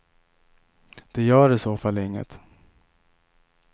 Det gör i så fall inget.